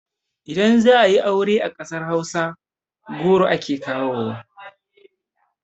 Idan za ayi aure a ƙasar hausa goro ake kawowa